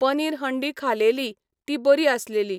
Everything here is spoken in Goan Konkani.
पनीर हंडी खालेली, ती बरी आसलेली.